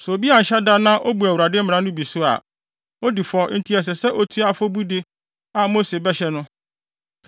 “Sɛ obi anhyɛ da na obu Awurade mmara no bi so a, odi fɔ nti ɛsɛ sɛ otua afɔbude a Mose bɛhyɛ no.